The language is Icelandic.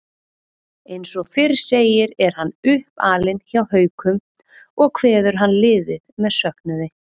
Eins og fyrr segir er hann uppalinn hjá Haukum og kveður hann liðið með söknuði.